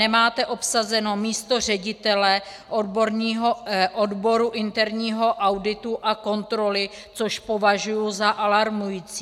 Nemáte obsazeno místo ředitele odboru interního auditu a kontroly, což považuji za alarmující.